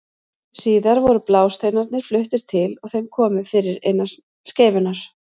Síðar voru blásteinarnir fluttir til og þeim komið fyrir innan skeifunnar.